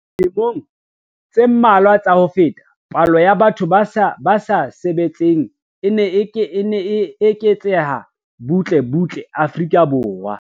Dilemong tse mmalwa tsa ho feta, palo ya batho ba sa sebetseng e ne e eketseha butle butle Afrika Borwa.